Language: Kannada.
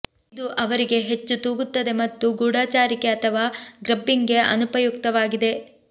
ಇದು ಅವರಿಗೆ ಹೆಚ್ಚು ತೂಗುತ್ತದೆ ಮತ್ತು ಗೂಢಾಚಾರಿಕೆ ಅಥವಾ ಗ್ರಬ್ಬಿಂಗ್ಗೆ ಅನುಪಯುಕ್ತವಾಗಿದೆ